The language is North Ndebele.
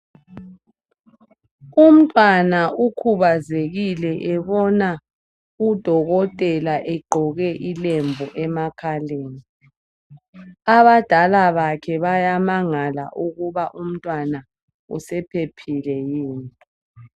Umntwana ukhubazekile ebona udokotela egqoke ilembu emakhaleni, abadala bakhe bayamangala ukuba umntwana usephephile yini